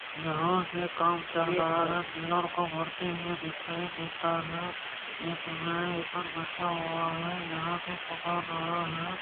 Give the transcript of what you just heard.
यहाँ पे काम चल रहा है पिलर का को भरते हुऐ दिखायी देता है एक बैठा हुआ है यहां पे पुकार रहा है।